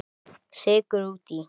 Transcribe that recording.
Sykur út í.